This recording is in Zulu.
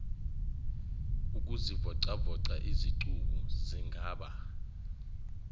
ukuzivocavoca izicubu zingaba